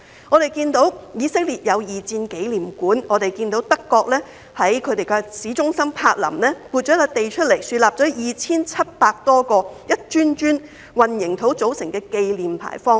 我們看到以色列設有二戰紀念館，也看到德國在柏林市中心撥出土地，豎立 2,700 多個一磚磚混凝土組成的紀念牌坊。